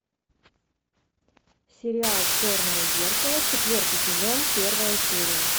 сериал черное зеркало четвертый сезон первая серия